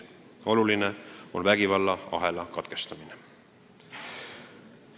Oluline on vägivallaahela katkestamine.